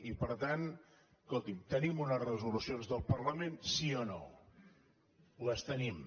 i per tant escolti’m tenim unes resolucions del parlament sí o no les tenim